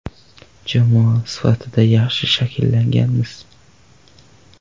Jamoa sifatida yaxshi shakllanganmiz.